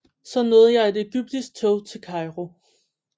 Så nåede jeg et egyptisk tog til Cairo